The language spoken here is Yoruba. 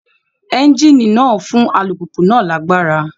Ẹ́ńjíìnì náà ń fún alùpùpù náà lágbára